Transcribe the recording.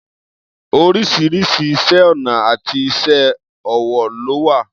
Oríṣiríṣi iṣẹ́ ọnà àti iṣé ọwọ́ ló wà.